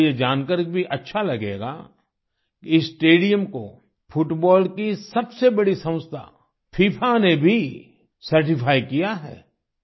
आपको यह जानकर भी अच्छा लगेगा कि इस स्टेडियम को फुटबॉल की सबसे बड़ी संस्था फिफा ने भी सर्टिफाई किया है